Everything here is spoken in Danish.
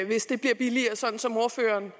hvis det bliver billigere sådan som ordføreren